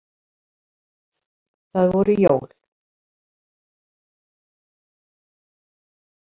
Það voru jól.